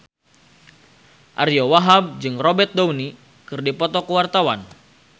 Ariyo Wahab jeung Robert Downey keur dipoto ku wartawan